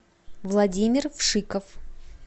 владимир вшиков